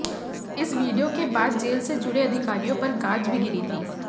इस वीडियो के बाद जेल से जुड़े अधिकारियों पर गाज भी गिरी थी